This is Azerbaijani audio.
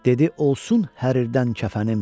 Dedi olsun hərirdən kəfənim.